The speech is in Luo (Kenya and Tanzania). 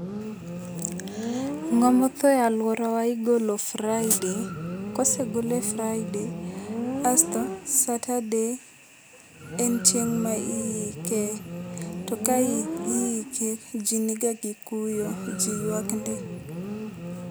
Ng'ama otho e aluorawa igolo friday ka osegolo Friday asto Saturday en chieng ma iike to ka iike ji ni ga gikuyo ji yuak ndi.